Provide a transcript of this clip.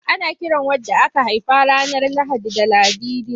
Ana kiran wadda aka haifa ranar Lahadi da Ladidi.